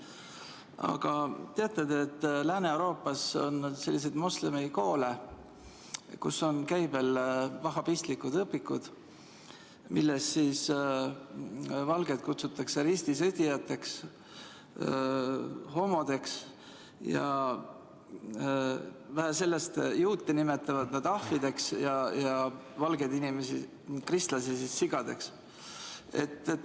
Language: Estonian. Aga kas te teate, et Lääne-Euroopas on selliseid moslemikoole, kus on käibel vahhabistlikud õpikud, milles valgeid kutsutakse ristisõdijateks ja homodeks, ning vähe sellest, juute nimetatakse ahvideks ja valgeid inimesi, kristlasi, sigadeks?